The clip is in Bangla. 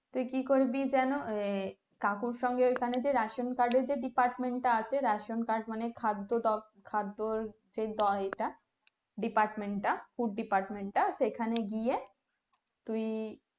তুই কি করবি যেন এই কাকুর সঙ্গে ওখানে যে ration card এর যে department টা আছে ration card মানে খাদ্য খাদ্য সেই টা department টা food department টা সেখানে গিয়ে তুই